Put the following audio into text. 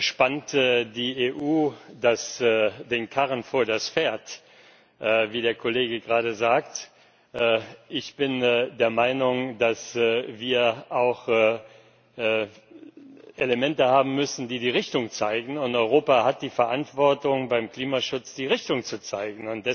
Spannt die EU den Karren vor das Pferd, wie der Kollege gerade sagte? Ich bin der Meinung, dass wir auch Elemente haben müssen, die die Richtung zeigen. Europa hat die Verantwortung, beim Klimaschutz die Richtung zu zeigen.